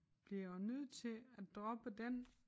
Bliver jeg nødt til at droppe den?